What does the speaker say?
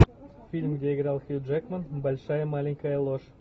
фильм где играл хью джекман большая маленькая ложь